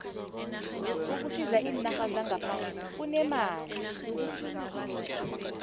ukusisa eenarheni zangaphandle kunemali